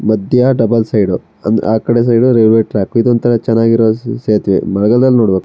ಮದ್ಯ double side ಅಂದ್ರೆ ಆ ಕಡೆ ಸೈಡ್ ರೈಲ್ವೆ ಟ್ರ್ಯಾಕ್ ಇದ್ ಒಂತರ ಚೆನ್ನಾಗಿ ಇರೋ ಸೇತುವೆ ಮಳೆಗಾಲದಲ್ಲಿ ನೋಡ್ಬೇಕು.